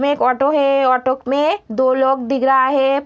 में एक ऑटो है। ऑटो में दो लोग दिख रहा है।